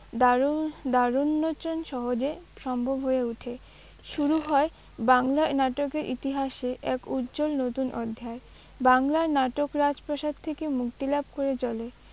দ্বারােন- দ্বারােন্মােচন সহজে সম্ভব হয়ে ওঠে। শুরু হয় বাংলা নাটকের ইতিহাসে এক উজ্জ্বল নতুন অধ্যায়। বাংলার নাটক রাজপ্রাসাদ থেকে মুক্তিলাভ করে চলে